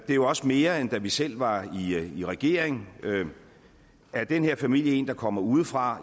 jo også mere end da vi selv var i regering er den her familie en der kommer udefra